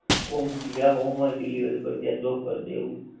home જ્યાં home હોય delivery પર ત્યાં drop કરી દે એવું.